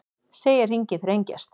Segja hringinn þrengjast